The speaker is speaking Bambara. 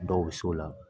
Dɔw bɛ s'o la